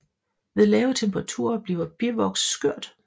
Ved lave temperaturer bliver bivoks skørt